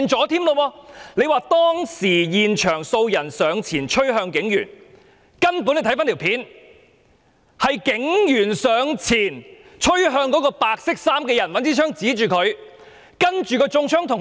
他說當時現場有數人上前趨向警員，但有關片段顯示，是警員上前趨向白衣人，並用槍指向他。